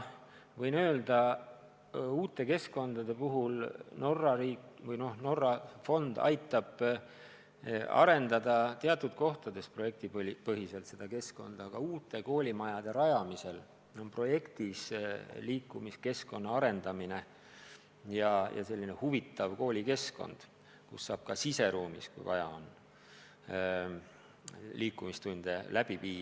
Uute keskkondade kohta ma võin öelda seda, et Norra fond aitab teatud kohtades projektipõhiselt midagi toetada, aga uute koolimajade rajamisel on projektis ette nähtud liikumiskeskkonna arendamine ja selline huvitav koolikeskkond, kus saab ka siseruumis, kui vaja on, liikumistunde läbi viia.